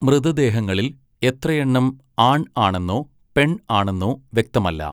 മൃതദേഹങ്ങളിൽ എത്രയെണ്ണം ആൺ ആണെന്നോ പെൺ ആണെന്നോ വ്യക്തമല്ല.